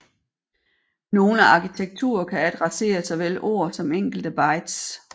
Nogle arkitekturer kan adressere såvel ord som enkelte bytes